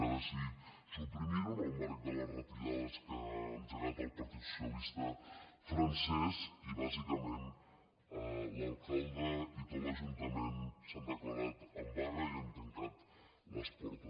ha decidit suprimir ho en el marc de les retallades que ha engegat el partit socialista francès i bàsicament l’alcalde i tot l’ajuntament s’han declarat en vaga i n’han tancat les portes